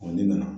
ne nana